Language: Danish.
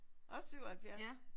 Også 77?